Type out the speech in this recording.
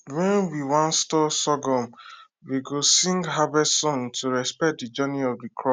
when we wan store sorghum we go sing harvest song to respect the journey of the crop